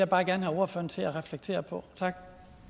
bare gerne have ordføreren til at reflektere på tak